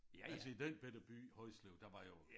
Altså i den bette by Højslev der var jo